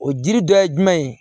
O jiri dɔ ye jumɛn ye